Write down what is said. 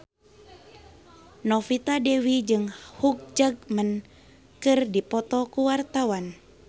Novita Dewi jeung Hugh Jackman keur dipoto ku wartawan